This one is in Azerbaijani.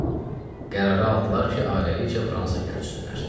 Qərarı aldılar ki, ailəlikcə Fransaya köçsünlər.